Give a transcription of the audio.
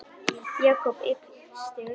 Jakob yppti öxlum.